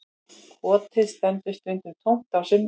Kotið stendur stundum tómt á sumrin